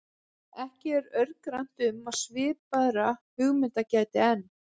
Ekki er örgrannt um að svipaðra hugmynda gæti enn.